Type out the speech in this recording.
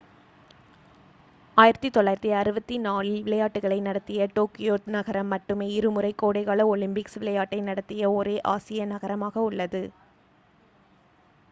1964ல் விளையாட்டுகளை நடத்திய டோக்கியோ நகரம் மட்டுமே இருமுறை கோடைகால ஒலிம்பிக்ஸ் விளையாட்டை நடத்திய ஒரே ஆசிய நகரமாக உள்ளது